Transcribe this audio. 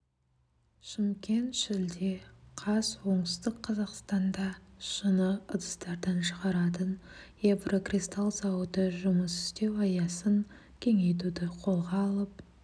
шымкент шілде қаз оңтүстік қазақстанда шыны ыдыстарын шығаратын еврокристалл зауыты жұмыс істеу аясын кеңейтуді қолға алып